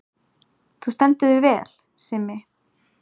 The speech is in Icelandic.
Þú stendur þig vel, Simmi!